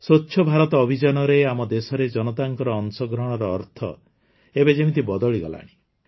ସ୍ୱଚ୍ଛ ଭାରତ ଅଭିଯାନରେ ଆମ ଦେଶରେ ଜନତାଙ୍କ ଅଂଶଗ୍ରହଣର ଅର୍ଥ ଏବେ ଯେମିତି ବଦଳିଗଲାଣି